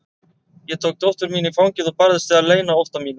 Ég tók dóttur mína í fangið og barðist við að leyna ótta mínum.